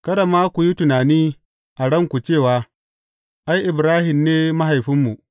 Kada ma ku yi tunani a ranku cewa, Ai, Ibrahim ne mahaifinmu.’